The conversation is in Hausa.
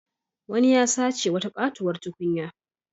Wani ya sace wata katuwar tukunya.